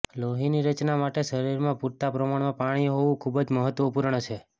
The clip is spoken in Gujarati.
લોહીની રચના માટે શરીરમાં પૂરતા પ્રમાણમાં પાણી હોવું ખૂબ જ મહત્વપૂર્ણ છે